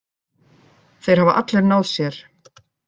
Þeir hafa allir náð sér.